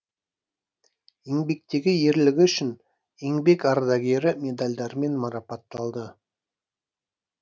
еңбектегі ерлігі үшін еңбек ардагері медальдарымен марапатталды